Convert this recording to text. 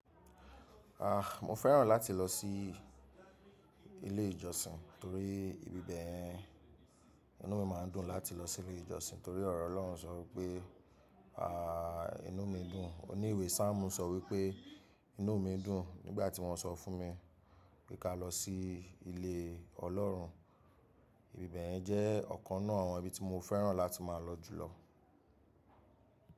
Ah, mo fẹ́ràn láti lọ sí ilé ìjọsìn torí ìbí bẹ̀yẹn. Inú mi máa ń dùn láti lọ sí ilé ìjọsìn torí ọ̀rọ̀ Ọlọ́run sọ pé ah inú mi dùn. Oní ìwé Samuelu sọ wípé inú mi dùn nígbà tí wọ́n sọ fún mi pé ká lọ sí ilé Ọlọ́run. Ìbí bẹ̀yẹn jẹ́ ọ̀kan náà àwọn ibi tí mo fẹ́ràn láti máa lọ jùlọ.